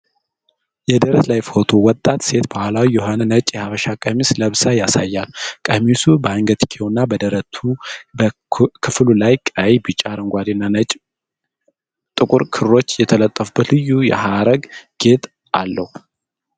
የደረት ላይ ፎቶ ወጣት ሴት ባህላዊ የሆነ ነጭ የሐበሻ ቀሚስ ለብሳ ያሳያል። ቀሚሱ በአንገትጌውና በደረት ክፍሉ ላይ ቀይ፣ ቢጫ፣ አረንጓዴና ጥቁር ክሮች የተጠለፉበት ልዩ የሐረግ ጌጥ አለው።